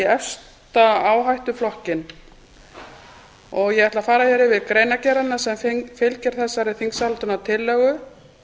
efsta áhættuflokkinn ég ætla að fara hér yfir greinargerðina sem fylgir þessari þingsályktunartillögu